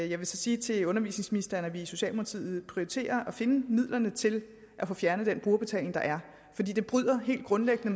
jeg vil så sige til undervisningsministeren at vi i socialdemokratiet prioriterer at finde midlerne til at få fjernet den brugerbetaling der er fordi den helt grundlæggende